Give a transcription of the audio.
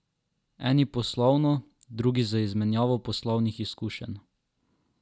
Eni poslovno, drugi z izmenjavo poslovnih izkušenj.